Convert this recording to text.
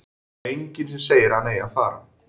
Það er enginn sem segir að hann eigi að fara.